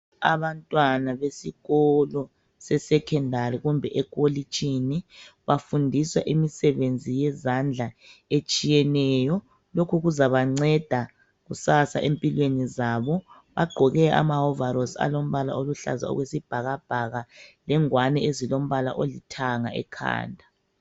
Abantwana besikolo, se-secondary kumbe ekolitshini. Bafundiswa imisebenzi yezandla etshiyeneyo. Lokhu kuzabanceda kusasa empilweni zabo. Bagqoke amahovarosi alombala oluhlaza, okwesibhakabhaka. Lengwani ezilombala olithanga ekhanda.